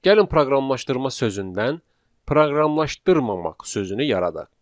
Gəlin proqramlaşdırma sözündən proqramlaşdırmamaq sözünü yaradaq.